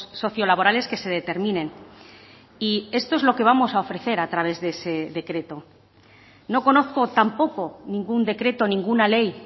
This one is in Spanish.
socio laborales que se determinen y esto es lo que vamos a ofrecer a través de ese decreto no conozco tampoco ningún decreto ninguna ley